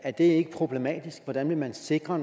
er det ikke problematisk hvordan vil man så sikre